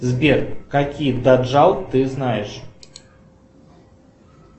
сбер какие даджал ты знаешь